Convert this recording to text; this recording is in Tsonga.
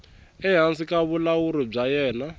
ehansi ka vulawuri bya yena